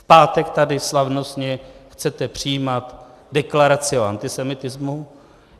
V pátek tady slavnostně chcete přijímat deklaraci o antisemitismu.